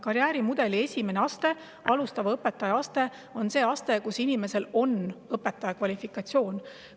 Karjäärimudeli esimene aste, alustava õpetaja aste, on see aste, kus inimesel on õpetaja kvalifikatsioon.